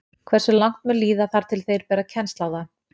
Hversu langt mun líða þar til þeir bera kennsl á það?